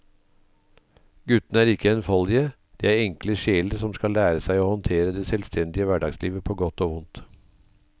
Guttene er ikke enfoldige, de er enkle sjeler som skal lære seg å håndtere det selvstendige hverdagslivet på godt og vondt.